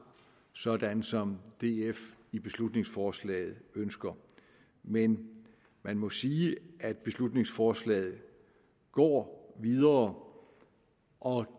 sådan som df i beslutningsforslaget ønsker men man må sige at beslutningsforslaget går videre og